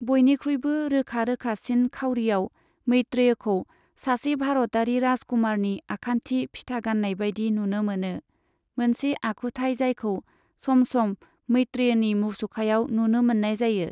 बयनिख्रुइबो रोखा रोखासिन खाउरिआव, मैत्रेयखौ सासे भारतारि राजकुमारनि आखान्थि फिथा गाननाय बायदि नुनो मोनो, मोनसे आखुथाय जायखौ सम सम मैत्रेयनि मुसुखायाव नुनो मोननाय जायो।